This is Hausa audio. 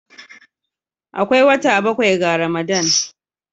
Akwai wata bakwai ga Ramadan